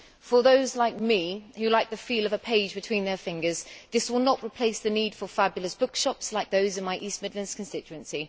For those like me who like the feel of a page between their fingers, this will not replace the need for fabulous bookshops like those in my East Midlands constituency.